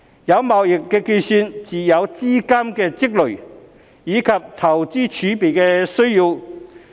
有貿易結算才會有資金的積累，以及投資儲備的需要。